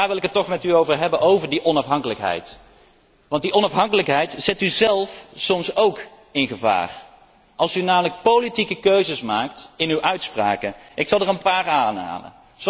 Daarover wil ik het toch met u hebben, over die onafhankelijkheid, want die onafhankelijkheid zet u zelf soms op het spel, als u namelijk politieke keuzes maakt in uw uitspraken. Ik zal er een paar aanhalen.